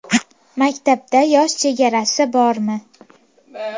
Maktabda yosh chegarasi bormi?